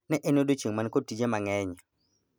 Ne en odiechieng man kod tije mang'eny